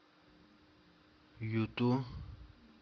юту